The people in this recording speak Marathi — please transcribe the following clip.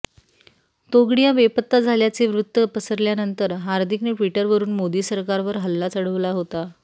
तोगडिया बेपत्ता झाल्याचे वृत्त पसरल्यानंतर हार्दिकने ट्विटरवरून मोदी सरकारवर हल्ला चढवला होता